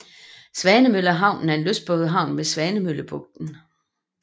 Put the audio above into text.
Svanemøllehavnen er en lystbådehavn ved Svanemøllebugten